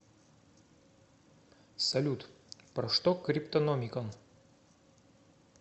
салют про что криптономикон